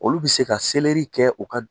Olu bɛ se ka selɛri kɛ u ka dum